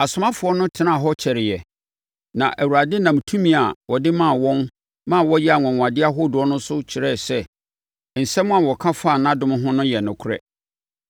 Asomafoɔ no tenaa hɔ kyɛreeɛ. Na Awurade nam tumi a ɔde maa wɔn ma wɔyɛɛ anwanwadeɛ ahodoɔ no so kyerɛɛ sɛ nsɛm a wɔka fa nʼadom ho no yɛ nokorɛ.